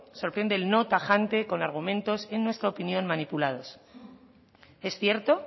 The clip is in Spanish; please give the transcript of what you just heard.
sorprende el no tajante con argumentos en nuestra opinión manipulados es cierto